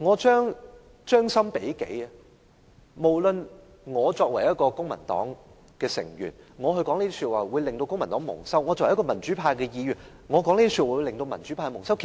將心比己，我作為公民黨的成員，如說出這些話將令公民黨蒙羞；作為民主派的議員，這些話亦會令民主派蒙羞。